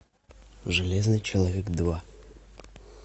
железный человек два